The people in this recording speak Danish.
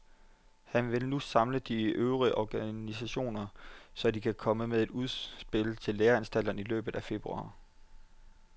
Han vil nu samle de øvrige organisationer, så de kan komme med et udspil til læreanstalterne i løbet af februar.